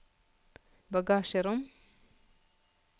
bagasjerom